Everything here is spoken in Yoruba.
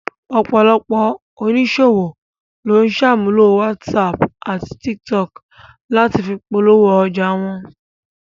Ọ̀pọ̀lọpọ̀ oníṣòwò ló ń sàmúlò whatsapp àti tiktok láti fi polówó ọjà wọn